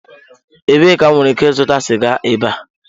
Ebee ka m nwere ike ịzụta siga ebe a?